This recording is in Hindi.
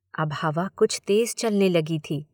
अब हवा कुछ तेज़ चलने लगी थी।